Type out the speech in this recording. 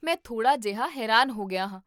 ਮੈਂ ਥੋੜ੍ਹਾ ਜਿਹਾ ਹੈਰਾਨ ਹੋ ਗਿਆ ਹਾਂ